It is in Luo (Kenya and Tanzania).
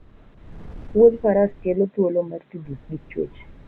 Wuoth faras kele thuolo mar tudruok gi chwech